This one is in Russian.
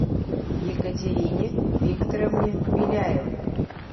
екатерине викторовне беляевой